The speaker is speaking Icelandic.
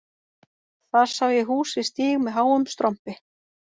Þar sá ég hús við stíg með háum strompi